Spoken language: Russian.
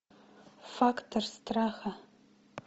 фактор страха